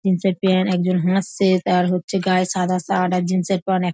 Jeans -এর pant. একজন হাসছে তার হচ্ছে গায়ে সাদা শার্ট আর জিন্স -এর প্যান্ট এক--